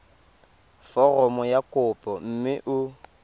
foromo ya kopo mme o